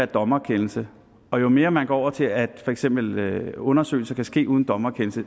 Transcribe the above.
dommerkendelse og jo mere man går over til at for eksempel undersøgelser kan ske uden dommerkendelse